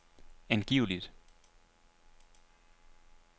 angiveligt